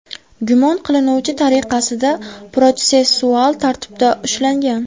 gumon qilinuvchi tariqasida protsessual tartibda ushlangan.